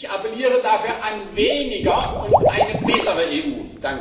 Ich appelliere dafür an weniger und eine bessere EU.